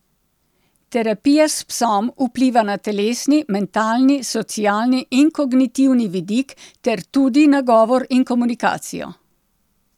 Terapija s psom vpliva na telesni, mentalni, socialni in kognitivni vidik ter tudi na govor in komunikacijo.